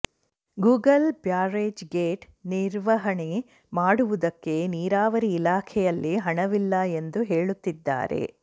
Google barrage gate ನಿರ್ವಹಣೆ ಮಾಡುವುದಕ್ಕೆ ನೀರಾವರಿ ಇಲಾಖೆಯಲ್ಲಿ ಹಣವಿಲ್ಲ ಎಂದು ಹೇಳುತ್ತಿದ್ದಾರೆ